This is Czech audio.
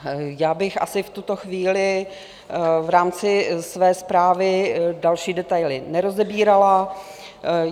Já bych asi v tuto chvíli v rámci své zprávy další detaily nerozebírala.